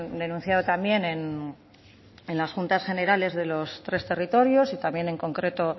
denunciado también en las juntas generales de los tres territorios y también en concreto